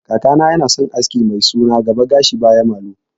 Kakana yana son aski mai suna gaba gashi baya malu